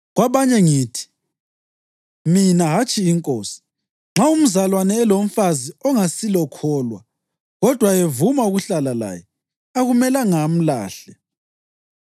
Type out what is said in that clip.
Kwabanye ngithi (mina, hatshi iNkosi): Nxa umzalwane elomfazi ongasilokholwa kodwa evuma ukuhlala laye, akumelanga amlahle.